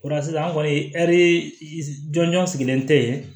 O la sisan an kɔni jɔnjɔn sigilen tɛ yen